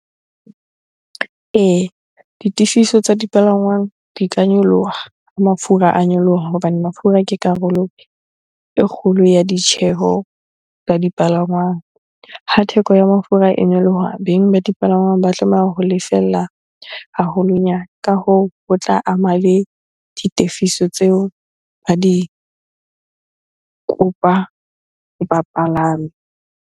Ee, ditefiso tsa dipalangwang di ka nyoloha ha mafura a nyoloha hobane mafura ke karolo e kgolo ya ditjheho tsa dipalangwang. Ha theko ya mafura e nyoloha, beng ba dipalangwang ba tlameha ho lefella haholonyana. Ka hoo, ho tla ama le ditefiso tseo ba di kopa bapalami.